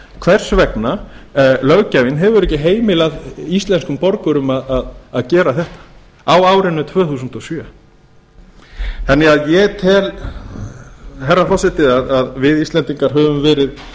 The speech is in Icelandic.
hvers vegna löggjafinn hefur ekki heimilað íslenskum borgurum að gera þetta á árinu tvö þúsund og sjö ég tel herra forseti að við íslendingar höfum verið